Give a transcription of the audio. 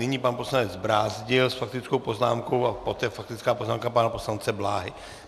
Nyní pan poslanec Brázdil s faktickou poznámkou a poté faktická poznámka pana poslance Bláhy.